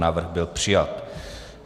Návrh byl přijat.